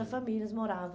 famílias moravam.